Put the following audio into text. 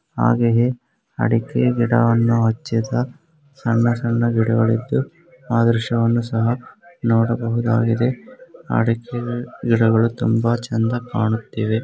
ಹಾಗೆಯೆ ಅಡಿಕೆ ಗಿಡವನ್ನು ಹಚ್ಚಿದ ಸಣ್ಣ ಸಣ್ಣ ಗಿಡಗಳಿದ್ದು ಆ ದೃಶ್ಯವನ್ನು ಸಹ ನೋಡಬಹುದಾಗಿದೆ ಅಡಿಕೆ ಗಿಡಗಳು ತುಂಬಾ ಚಂದಾ ಕಾಣುತ್ತಿವೆ .